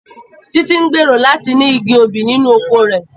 Títí ń gbèrò láti ní igi obì nínú oko rẹ̀